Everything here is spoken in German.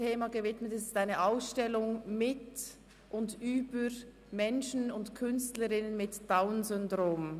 Es handelt sich um eine Ausstellung mit und über Menschen sowie Künstlerinnen und Künstler mit DownSyndrom.